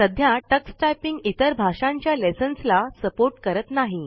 सध्या Tux typing इतर भाषांच्या लेसंन्स ला सपोर्ट करत नाही